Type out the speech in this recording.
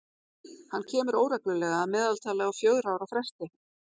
Hann kemur óreglulega, að meðaltali á fjögurra ára fresti.